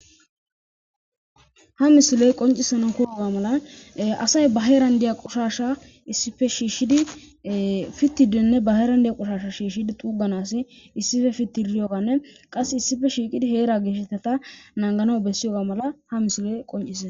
Ha misiloy qoncisanon koyoga mala asay ba heeran diya qoshasha issife shiishshidi fittidenne ba heeran diya qoshasha shiishshidi xuuganas issife fitti riyoganne qasse issife shiiqidi heera geeshetata naangano bessiyoga mala ha misiloy qonciee.